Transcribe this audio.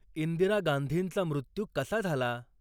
इंदिरा गांधींचा मृत्यू कसा झाला